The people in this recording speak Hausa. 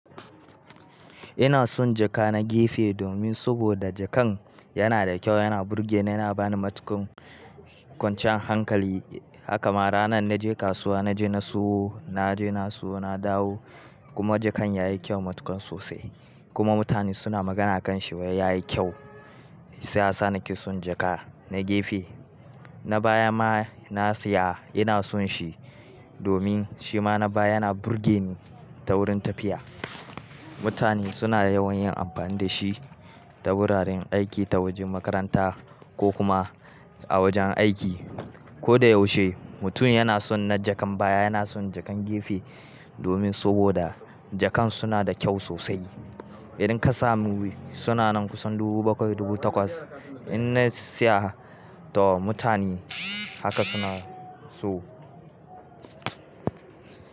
Ina son jaka na gefe domin saboda jakan yana da kyau, yana burge ni, yana bani matukar kwanciyar hankali. Haka ma ranar na je kasuwa, na je na siyo, na je na siyo na dawo kuma jakan ya yi kyau matukar sosai kuma mutane suna magana a kan shi, wai ya yi kyau. Shi ya sa na ki son jaka na gefe. Na baya ma na siya ina son shi domin shi ma na baya yana burge ni ta wurin tafiya. Mutane suna yawan yin amfani da shi ta wuraren aiki, ta wajen makaranta ko kuma a wajen aiki. Ko da yaushe mutum yana son na jakan baya, yana son jakan gefe domin saboda jakan suna da kyau sosai. Idan ka samu suna nan kusan dubu bakwai, dubu takwas idan na siya to mutane haka suna so.